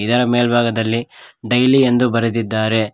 ಇದರ ಮೆಲ್ಬಾಗದಲ್ಲಿ ಡೈಲಿ ಎಂದು ಬರೆದಿದ್ದಾರೆ.